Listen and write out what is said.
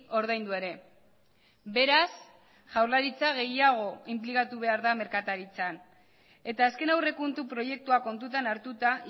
ordaindu ere beraz jaurlaritza gehiago inplikatu behar da merkataritzan eta azken aurrekontu proiektua kontutan hartuta